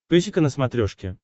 песика на смотрешке